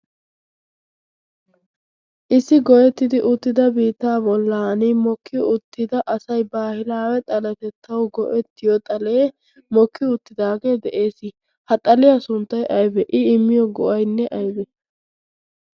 issi goyettidi uttida biitaa bollan mokkiyo uttida asai baahilaawe xalatettau go7ettiyo xalee mokkio uttidaagee de7ees ha xaliyaa sunttai aibe i immiyo gu7ainne aibe